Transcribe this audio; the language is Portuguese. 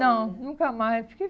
Não, nunca mais. Fiquei